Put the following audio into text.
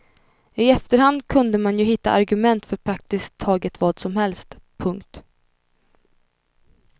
I efterhand kunde man ju hitta argument för praktiskt taget vad som helst. punkt